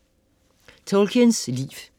Tolkiens liv